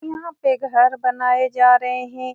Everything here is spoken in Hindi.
यहाँ पे घर बनाए जा रहे हैं ।